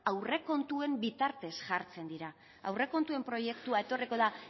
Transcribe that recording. aurrekontuen bitartez jartzen dira aurrekontuen proiektua etorriko da